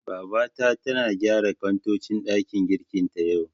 Babata tana gyara kantocin ɗakin girkin ta, yau.